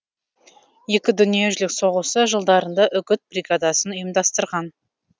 екі дүниежүзілік соғысы жылдарында үгіт бригадасын ұйымдастырған